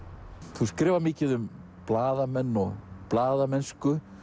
þú skrifar mikið um blaðamenn og blaðamennsku